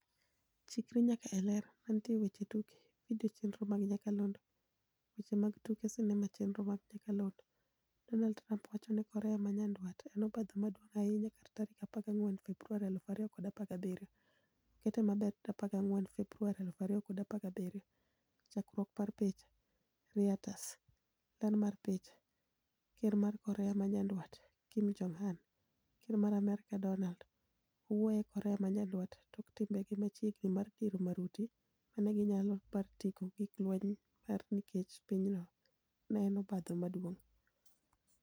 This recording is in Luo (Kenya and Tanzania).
Chikri nyaka e Ler. Mantie e weche tuke. Video chenro mag nyakalondo. Weche mag tuke sinema chenro mag nyakalondo. Donald Trump wacho ni Korea ma nyandwat en obadho maduong' ahinya kar tarik 14 Februari 2017. okete maber 14 Februari 2017 .Chakruok mar picha, Reuters. Ler mar picha, ker mar Korea ma nyandwat. Kim Jong-un , ker mar Amerka, Donald , owuoye e Korea ma nyandwat tok timbe ge machiegni mar diro maruti manigi nyalo mar ting'o gik lweny mar nikech pinyno en obadho maduong'.